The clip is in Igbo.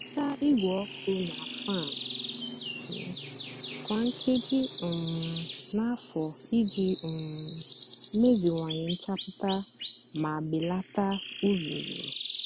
hịcha igwe ọkụ nà fan kwá nkéjí um nà-àfó íjì um meziwanye nchapụta mà belata uzuzu.